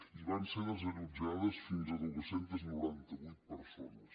i van ser desallotjades fins a quatre cents i noranta vuit persones